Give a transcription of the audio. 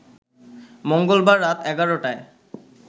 মঙ্গলবার রাত ১১ টায়